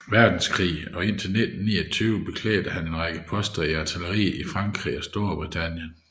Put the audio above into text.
Verdenskrig og indtil 1929 beklædte han en række poster i artilleriet i Frankrig og Storbritannien